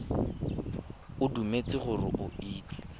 o dumetse gore o itse